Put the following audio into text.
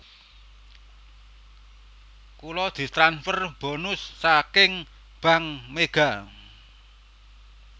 Kula ditransfer bonus saking Bank Mega